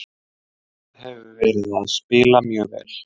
Liðið hefur verið að spila mjög vel.